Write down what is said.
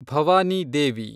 Bhavani Devi